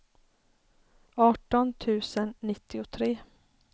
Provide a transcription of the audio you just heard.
arton tusen nittiotre